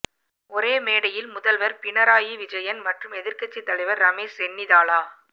ஒரே மேடையில் முதல்வர் பினராயி விஜயன் மற்றும் எதிர்க்கட்சித் தலைவர் ரமேஷ் சென்னிதாலா